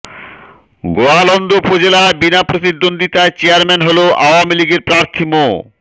গোয়ালন্দ উপজেলায় বিনা প্রতিদ্বন্দ্বিতায় চেয়ারম্যান হন আওয়ামী লীগের প্রার্থী মো